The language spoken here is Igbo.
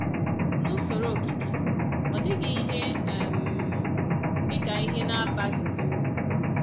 N’usoro okike… ọ dịghị ihe um dị ka ihe na-abaghịzi uru